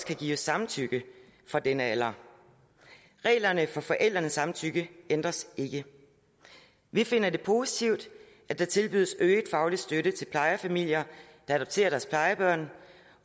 kan gives samtykke fra denne alder reglerne for forældrenes samtykke ændres ikke vi finder det positivt at der tilbydes øget faglig støtte til plejefamilier der adopterer deres plejebarn